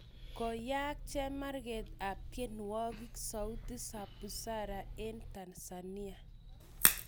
Koyaag chemarget ap tienwogikap SAUTI ZA BUZARA en tanzania.